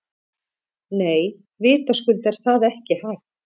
Nei, vitaskuld er það ekki hægt.